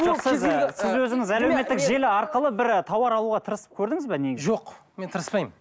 жоқ сіз і сіз өзіңіз әлеуметтік желі арқылы бір тауар алуға тырысып көрдіңіз бе негізі жоқ мен тырыспаймын